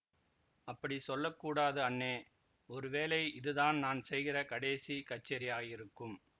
அப்படி சொல்ல கூடாது அண்ணே ஒரு வேளை இது தான் நான் செய்கிற கடைசி கச்சேரியாயிருக்கும்